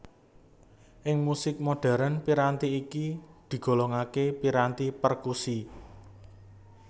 Ing musik modhèrn piranti iki digolongaké piranti perkusi